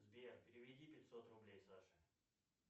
сбер переведи пятьсот рублей саше